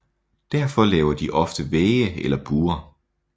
Derfor laver de ofte vægge eller buer